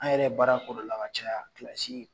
An yɛrɛ ye baara k'o de la ka caya